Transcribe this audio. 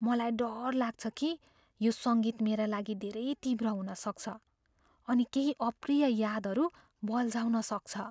मलाई डर लाग्छ कि यो सङ्गीत मेरा लागि धेरै तीव्र हुन सक्छ अनि केही अप्रिय यादहरू बल्झाउन सक्छ।